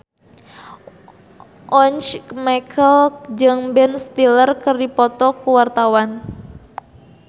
Once Mekel jeung Ben Stiller keur dipoto ku wartawan